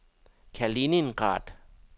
Kaliningrad